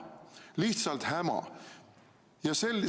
Lihtsalt häma!